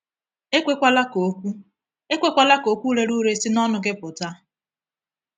“Ekwekwala ka okwu “Ekwekwala ka okwu rere ure si n’ọnụ gị pụta…